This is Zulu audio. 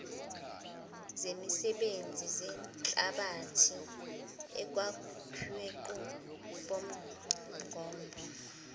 zemisebenzi zehlabathi ekwakhiwenikwenqubomgombo